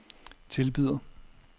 tilbyder